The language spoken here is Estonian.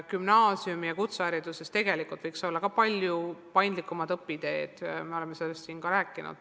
Gümnaasiumi- ja kutsehariduses võiks olla palju paindlikumad õpiteed, me oleme sellest siin ka rääkinud.